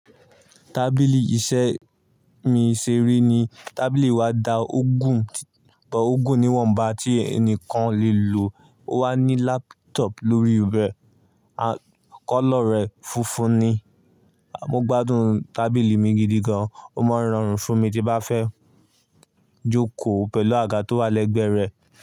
Tábìlì iṣẹ́ mi ṣe ri ni. Tábìlì wa da o gún, bo o gún níwọ̀nba tí ẹnìkan o lè lo. Ó wà ní laptop lórí rẹ̀. À kọ́lọ̀ rẹ̀ funfun ni. Mo gbádùn tábìlì mi gidi gan. Ó máa ń rọrùn fún mi tí n bá fẹ́ jókòó pẹ̀lú àga tó wà lẹ́gbẹ̀ẹ́ rẹ̀.